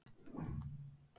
Það þykir óvenju seint